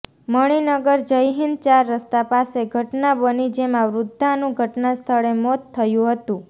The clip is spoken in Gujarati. મણીનગર જયહિંદ ચાર રસ્તા પાસે ઘટના બની જેમાં વૃદ્ધાનું ઘટના સ્થળે મોત થયું હતું